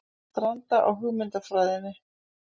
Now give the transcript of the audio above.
Stranda á hugmyndafræðinni